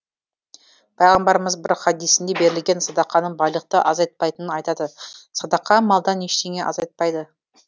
пайғамбарымыз бір хадисінде берілген садақаның байлықты азайтпайтынын айтады садақа малдан ештеңе азайтпайды